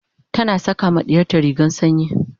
tana saƙa ma ɗiyarta rigar sanyi